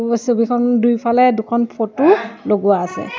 ছবিখন দুইফালে দুখন ফটো লগোৱা আছে।